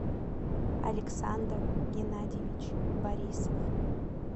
александр геннадьевич борисов